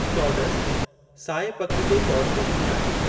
चौॾसि साए पख जो चौॾहों ॾींहुं आहे।